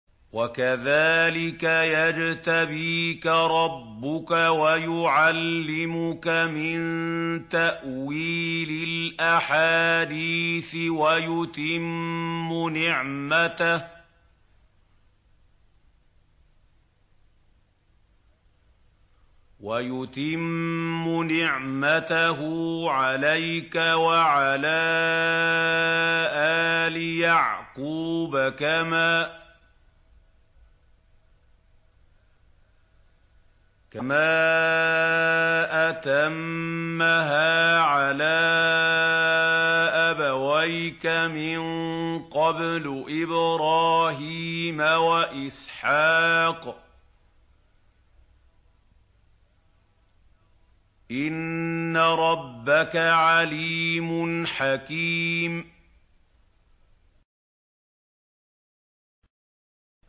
وَكَذَٰلِكَ يَجْتَبِيكَ رَبُّكَ وَيُعَلِّمُكَ مِن تَأْوِيلِ الْأَحَادِيثِ وَيُتِمُّ نِعْمَتَهُ عَلَيْكَ وَعَلَىٰ آلِ يَعْقُوبَ كَمَا أَتَمَّهَا عَلَىٰ أَبَوَيْكَ مِن قَبْلُ إِبْرَاهِيمَ وَإِسْحَاقَ ۚ إِنَّ رَبَّكَ عَلِيمٌ حَكِيمٌ